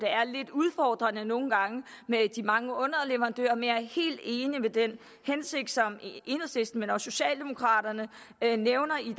er lidt udfordrende med de mange underleverandører men jeg er helt enig i den hensigt som enhedslisten men også socialdemokraterne nævner i